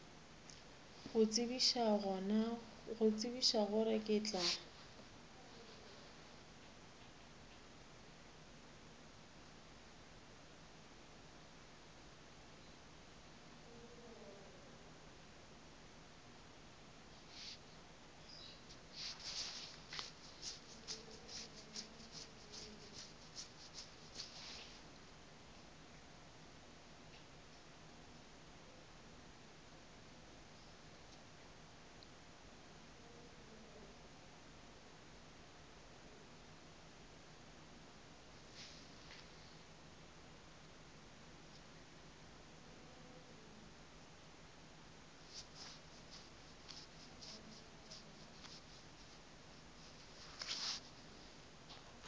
go tsebiša gore ke tla